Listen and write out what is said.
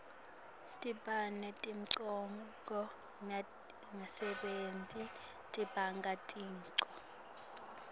tibane temgwaco natingasebenti tibanga tingoti